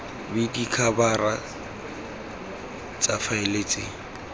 b dikhabara tsa faele tse